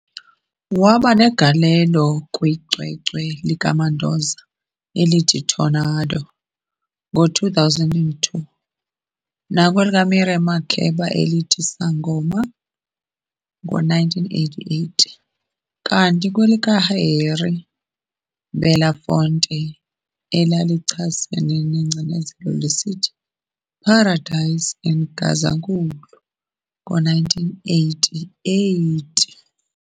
Wabanegalelo kwicwecwe likaMandoza elithi "Tornado" ngo2002, nakwelikaMiriam Makeba elithi "Sangoma" ngo1988, kanti nakwelika Harry Belafonte elalichasene nengcinezelo lisithi "Paradise in Gazankulu" ngo1988.